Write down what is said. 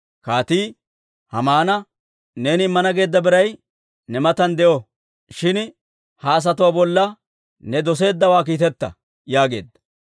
Kaatii Haamana, «Neeni immana geedda biray ne matan de'o; shin ha asatuwaa bolla ne doseeddawaa kiiteta» yaageedda.